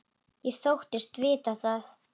Ég þóttist vita það.